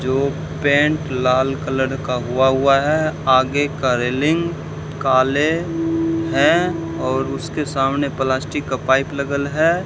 जो पेंट लाल कलर का हुआ हुआ है आगे का रेलिंग काले हैं और उसके सामने प्लास्टिक का पाइप लगल है।